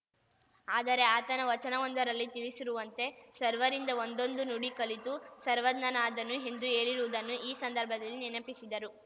ಆದರೆ ಆತನ ವಚನವೊಂದರಲ್ಲಿ ತಿಳಿಸಿರುವಂತೆ ಸರ್ವರಿಂದ ಒಂದೊಂದು ನುಡಿ ಕಲಿತು ಸರ್ವಜ್ಞನಾದನು ಎಂದು ಹೇಳಿರುವುದನ್ನು ಈ ಸಂದರ್ಭದಲ್ಲಿ ನೆನಪಿಸಿದರು